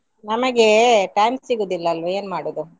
ನಮಗೆ time ಸಿಗುದಿಲ್ವಾ ಅಲ್ವಾ ಏನ್ ಮಾಡುದು?